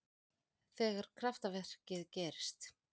Þegar kraftaverkið gerðist.